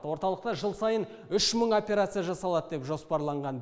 орталықта жыл сайын үш мың операция жасалады деп жоспарланған